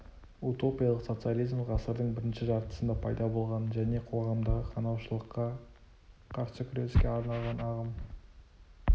утопиялық социализм ғасырдың бірінші жартысында пайда болған және қоғамдағы қанаушылыққа қарсы күреске арналған ағым